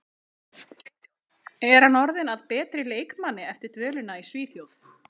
Er hann orðinn að betri leikmanni eftir dvölina í Svíþjóð?